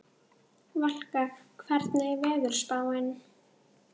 Valka, hvernig er veðurspáin?